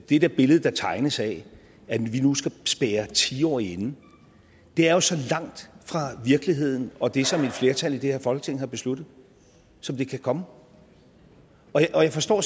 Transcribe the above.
det der billede der tegnes af at vi nu skal spærre ti årige inde er jo så langt fra virkeligheden og det som et flertal i det her folketing har besluttet som det kan komme og jeg forstår